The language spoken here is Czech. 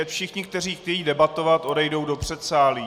Ať všichni, kteří chtějí debatovat, odejdou do předsálí.